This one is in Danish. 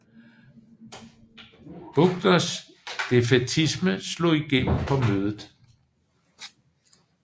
Buckners defaitisme slog igennem på mødet